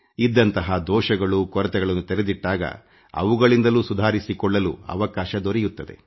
ಇದ್ದಂತಹ ದೋಷಗಳು ನ್ಯೂನತೆಗಳನ್ನು ತೆರೆದಿಟ್ಟಾಗ ಅವುಗಳಿಂದಲೂ ಸುಧಾರಿಸಿಕೊಳ್ಳುಲು ಅವಕಾಶ ದೊರೆಯುತ್ತ್ತದೆ